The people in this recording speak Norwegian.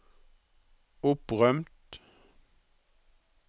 opprømt